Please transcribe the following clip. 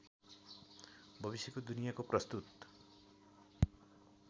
भविष्यको दुनियाँको प्रस्तुत